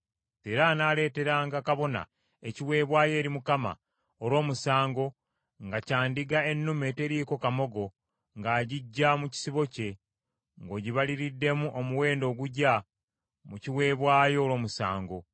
Era anaaleeteranga kabona ekiweebwayo eri Mukama olw’omusango, nga kya ndiga ennume eteriiko kamogo ng’agiggya mu kisibo kye, ng’ogibaliriddemu omuwendo ogugya mu kiweebwayo olw’omusango.